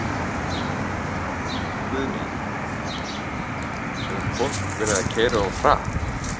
Guðný: Hefur fólk verið að keyra of hratt?